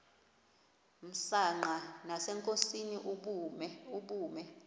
msanqa nasenkosini ubume